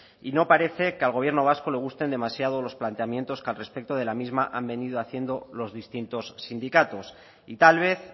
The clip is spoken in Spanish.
y no parece que al gobierno vasco le gusten demasiado los planteamientos que al respecto de la misma han venido haciendo los distintos sindicatos y tal vez